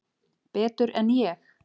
Betur en ég?